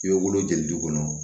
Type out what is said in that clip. I bɛ wolo jɔli d'i ma